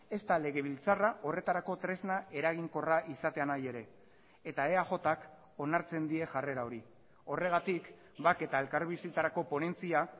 ezta legebiltzarra horretarako tresna eraginkorra izatea nahi ere eta eajk onartzen die jarrera hori horregatik bake eta elkarbizitzarako ponentzia